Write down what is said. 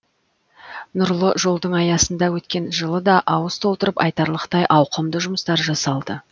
нұрлы жолдың аясында өткен жылы да ауыз толтырып айтарлықтай ауқымды жұмыстар жасалды